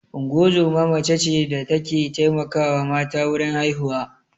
Ungozoma mace ce da ta ke taimakawa mata wurin haihuwa